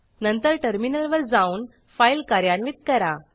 नंतर टर्मिनलवर जाऊन फाईल कार्यान्वित करा